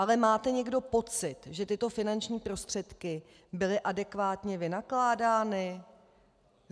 Ale máte někdo pocit, že tyto finanční prostředky byly adekvátně vynakládány?